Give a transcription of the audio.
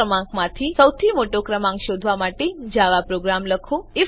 ત્રણ ક્રમાંકોમાંથી સૌથી મોટો ક્રમાંક શોધવા માટેનો જાવા પ્રોગ્રામ લખો